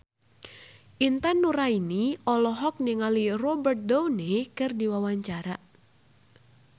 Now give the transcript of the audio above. Intan Nuraini olohok ningali Robert Downey keur diwawancara